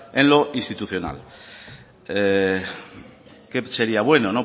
en lo institucional qué sería bueno